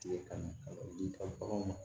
Tigɛ ka na ka na o di i ka baganw ma